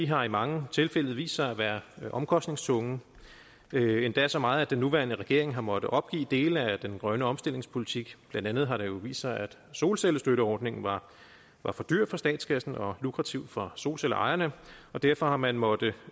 har i mange tilfælde vist sig at være omkostningstunge endda så meget at den nuværende regering har måttet opgive dele af den grønne omstillingspolitik blandt andet har det jo vist sig at solcellestøtteordningen var var for dyr for statskassen og for lukrativ for solcellerejerne og derfor har man måttet